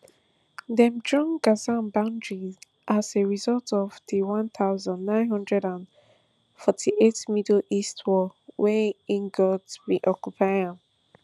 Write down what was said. dem draw gaza boundaries as a result of di one thousand, nine hundred and forty-eight middle east war wen egyot bin occupy am